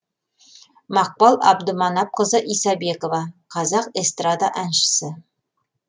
мақпал абдыманапқызы исабекова қазақ эстрада әншісі